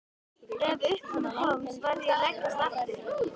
Ef upp um mig komst varð ég að leggjast aftur.